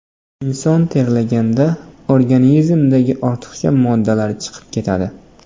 Inson terlaganda organizmdagi ortiqcha moddalar chiqib ketadi.